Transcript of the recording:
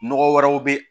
Nɔgɔ wɛrɛw bɛ ye